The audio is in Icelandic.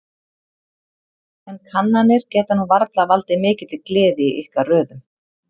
En kannanir geta nú varla valdið mikilli gleði í ykkar röðum?